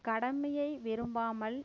கடமையை விரும்பாமல்